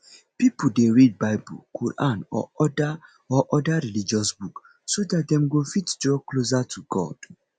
pipo dey read bible quran or oda or oda religious book so dat dem go fit draw closer to god